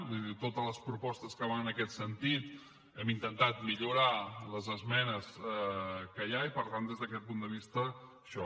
vull dir totes les propostes que van en aquest sentit hem intentat millorar les esmenes que hi ha i per tant des d’aquest punt de vista això